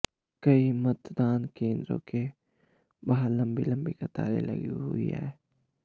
कई मतदान केंद्रों के बाहर लंबी लंबी कतारें लगी हुईं हैं